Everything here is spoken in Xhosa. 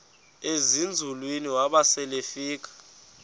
ezinzulwini waba selefika